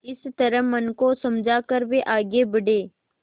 इस तरह मन को समझा कर वे आगे बढ़े